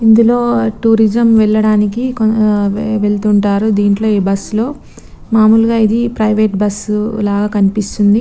ఇందులో టూరిజం వెళ్ళడానికి వేల్లుతుంటారు దింట్లో ఈ బస్ లో. మాములుగా ఇది ప్రైవేటు బస్సు లాగా కనిపిస్తుంది.